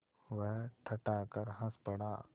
वह ठठाकर हँस पड़ा